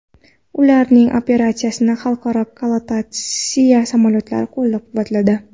Ularning operatsiyasini xalqaro koalitsiya samolyotlari qo‘llab-quvvatladi.